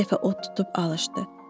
Bir dəfə od tutub alışdı.